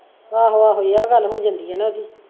ਆਹੋ ਆਹੋ ਆਹ ਗੱਲ ਹੋ ਜਾਂਦੀ ਆ ਨਾ ਓਹਦੀ।